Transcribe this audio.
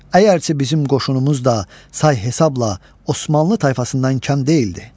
Əgərçi bizim qoşunumuz da say hesabla Osmanlı tayfasından az deyildi.